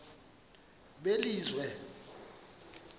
belizwe